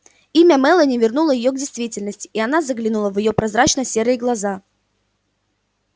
имя мелани вернуло её к действительности и она заглянула в её прозрачно-серые глаза